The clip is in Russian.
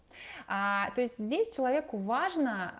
то есть здесь человеку важно